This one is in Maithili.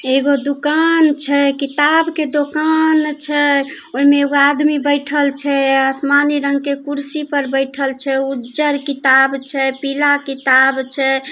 एगो दोकान छै किताब के दोकान छै ओय मे एगो आदमी बैठल छै आसमानी रंग के कुर्सी पर बैठल छे उज्जर किताब छै पीला किताब छै।